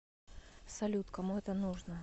салют кому это нужно